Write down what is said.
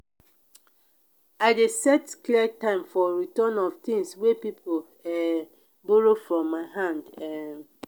i dey set clear time for return of tins wey pipo um borrow from my hand. um